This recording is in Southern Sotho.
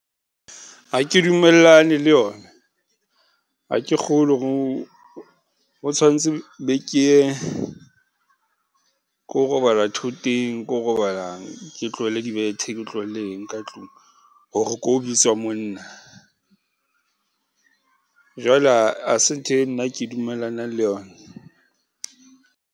Ha ke dumellane le yona, ha ke kgolwe o tshwantse be ke ye ko robala thoteng, ko robala ke tlohele dibethe ke tlohelle eng ka tlung hore ko bitswa monna. Jwale ha se ntho e nna ke dumellanang le yona.